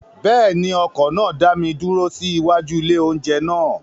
Bẹ́ẹ̀ ni, ọkọ̀ náà dá mi dúró sí iwájú ilé-oúnjẹ náà.